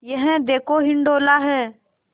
यह देखो हिंडोला है